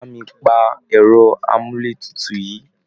Bà mi pa ẹ̀rọ amúlétutu yìí!